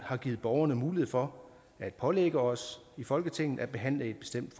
har givet borgerne mulighed for at pålægge os i folketinget at behandle et bestemt